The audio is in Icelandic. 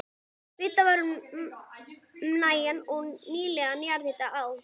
Vitað var um nægan og nýtanlegan jarðhita á